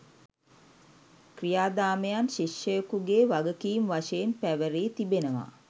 ක්‍රියාදාමයන් ශිෂ්‍යයකුගේ වගකීම් වශයෙන් පැවැරී තිබෙනවා.